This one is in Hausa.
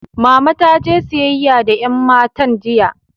Mama taje siyayya da yan matan jiya.